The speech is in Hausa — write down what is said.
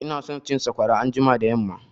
Ina son cin sakwara anjima da yamma